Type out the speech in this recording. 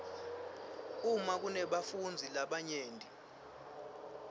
uma kunebafundzi labanyenti